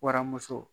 Waramuso